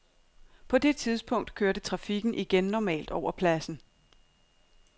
På det tidspunkt kørte trafikken igen normalt over pladsen.